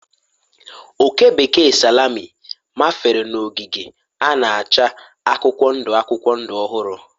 Oke bekee salami mafere n'ogige a na-acha akwụkwọ ndụ akwụkwọ ndụ ọhụrụ